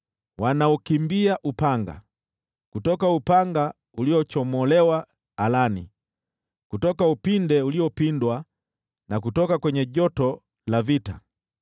Wanaukimbia upanga, kutoka upanga uliochomolewa alani, kutoka upinde uliopindwa, na kutoka kwenye joto la vita.